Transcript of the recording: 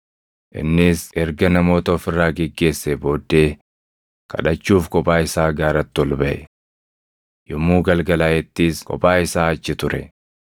Innis erga namoota of irraa geggeessee booddee kadhachuuf kophaa isaa gaaratti ol baʼe. Yommuu galgalaaʼettis kophaa isaa achi ture;